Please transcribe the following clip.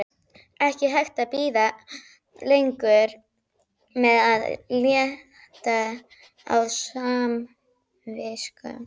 Ekki hægt að bíða lengur með að létta á samviskunni!